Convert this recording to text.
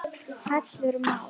Hallur Már